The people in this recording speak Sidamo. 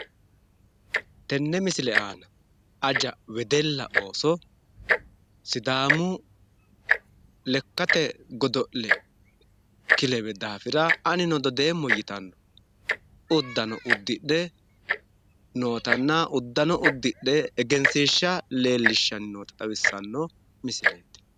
Tenne misile aana aja wedella ooso sidaamu lekkate godo'le kilewe daafira anino dodeemmo yitanno uddano uddidhe nootanna uddano uddidhe egensiishsha leellishshanni noota xawissanno misileeti.